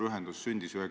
Ma arvan, et see on hea.